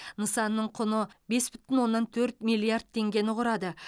нысанның құны бес бүтін оннан төрт миллиард теңгені құрады